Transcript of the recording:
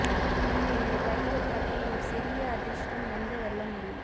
நீங்கள் இந்த கைகள் மற்றும் ஒரு சிறிய அதிர்ஷ்டம் எந்த வெல்ல முடியும்